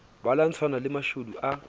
ba lwantshana le mashodu a